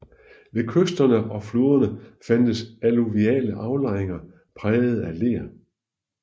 Ved kysterne og floderne fandtes alluviale aflejringer prægede af ler